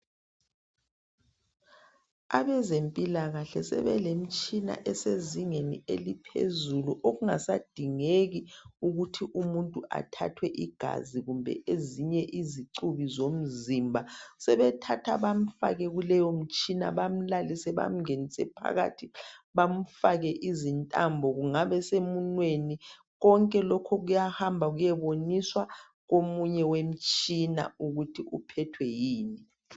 Abezempilakahle sebelemitshina esezingeni eliphezulu okungasadingeki ukuthi umuntu athathwe igazi kumbe ezinye izicubi zomzimba. Sebemthatha bamfake kuleyomtshina bamlalise bamngenise phakathi bamfake izintambo kungabe semunweni konke lokhu kuyahamba kuyeboniswa komunye wemtshina ukuthi uphethwe yini.